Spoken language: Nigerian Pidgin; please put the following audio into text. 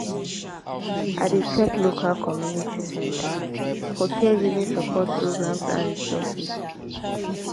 i dey check local community centers for caregiving support programs and resources.